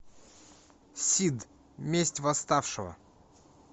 сид месть восставшего